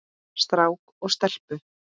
Strák og stelpu.